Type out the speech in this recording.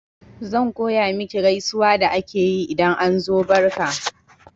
Zan koya maki gaisuwa da ake yi idan an zo barka